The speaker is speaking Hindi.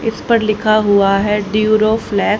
इस पर लिखा हुआ है ड्यूरोफलै--